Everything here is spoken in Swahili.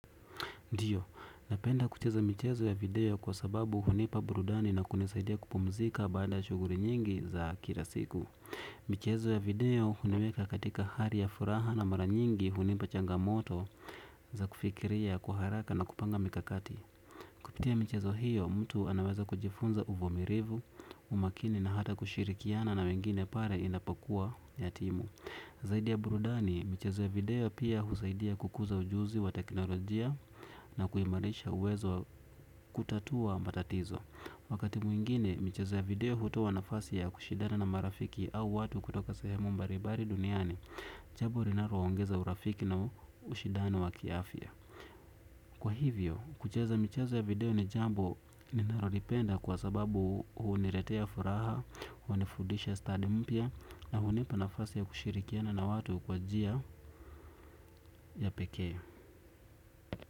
Ndio, napenda kucheza michezo ya video kwa sababu hunipa burudani na kunisaidia kupumzika baada shughuli nyingi za kila siku. Michezo ya video huniweka katika hali ya furaha na mara nyingi hunipa changamoto za kufikiria, kwa haraka na kupanga mikakati. Kupitia michezo hiyo, mtu anaweza kujifunza uvumilivu, umakini na hata kushirikiana na wengine pale inapokuwa yatimu. Zaidi ya burudani, michezo ya video pia husaidia kukuza ujuzi wa teknolojia na kuimarisha uwezo wa kutatua matatizo. Wakati mwingine, michezo ya video hutoa nafasi ya kushindana na marafiki au watu kutoka sehemu mbalimbali duniani, jambo linalowaongeza urafiki na ushidano wa kiafya. Kwa hivyo, kucheza michezo ya video ni jambo ninalolipenda kwa sababu huniletea furaha, hunifundisha stand mpya na hunipa nafasi ya kushirikiana na watu kwa njia ya pekee.